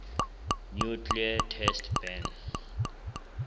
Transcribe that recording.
nuclear test ban